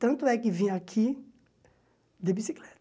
Tanto é que vim aqui de bicicleta.